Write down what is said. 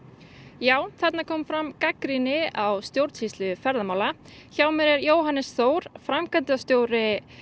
já þarna kom fram gagnrýni á stjórnsýslu ferðamála hjá mér er Jóhannes Þór framkvæmdastjóri